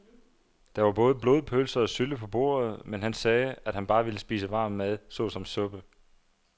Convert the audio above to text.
Der var både blodpølse og sylte på bordet, men han sagde, at han bare ville spise varm mad såsom suppe.